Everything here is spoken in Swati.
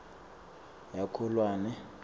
yakholwane